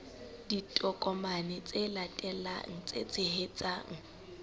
ditokomane tse latelang tse tshehetsang